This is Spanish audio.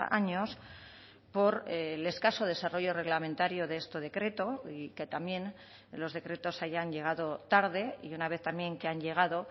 años por el escaso desarrollo reglamentario de este decreto y que también los decretos hayan llegado tarde y una vez también que han llegado